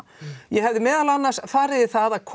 ég hefði meðal annars farið í það að